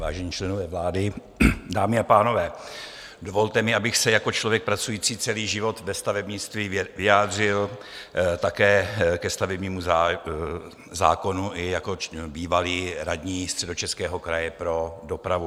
Vážení členové vlády, dámy a pánové, dovolte mi, abych se jako člověk pracující celý život ve stavebnictví vyjádřil také ke stavebnímu zákonu, i jako bývalý radní Středočeského kraje pro dopravu.